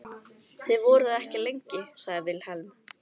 Þið voruð ekki lengi, sagði Vilhelm.